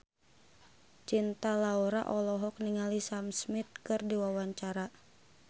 Cinta Laura olohok ningali Sam Smith keur diwawancara